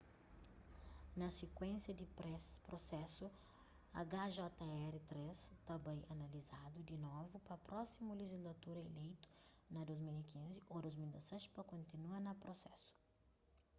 na sikuénsia di prusesu hjr-3 ta bai analizadu di novu pa prósimu lejislatura ileitu na 2015 ô 2016 pa kontinua na prusesu